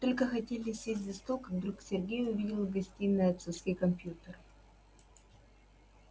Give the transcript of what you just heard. только хотели сесть за стол как вдруг сергей увидел в гостиной отцовский компьютер